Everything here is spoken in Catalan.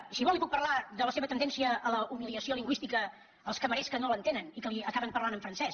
i si vol li puc parlar de la seva tendència a la humiliació lingüística dels cambrers que no l’entenen i que li acaben parlant en francès